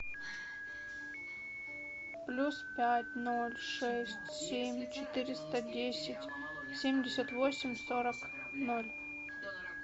плюс пять ноль шесть семь четыреста десять семьдесят восемь сорок ноль